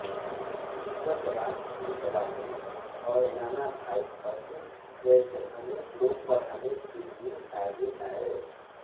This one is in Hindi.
जीवतराम कृपलानी और नानाभाई भट्ट जैसे अनेक लोग पढ़ाने के लिए आगे आये